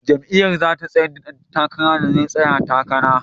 Jam’iyyar za ta tsayar da dan takarar da zai tsaya takarar.